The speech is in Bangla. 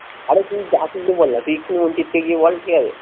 আরে তুই বলনা তুই একটু নিজের থেকে বল ঠিক আছে